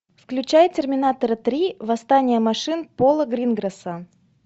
включай терминатора три восстание машин пола гринграсса